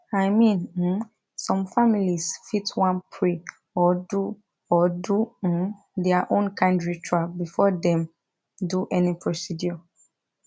i mean um some families fit wan pray or do or do um their own kind ritual before dem do any procedure